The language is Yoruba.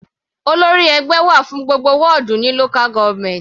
Olórí ẹgbẹ́ wà fún gbogbo wọ́dù ní local government.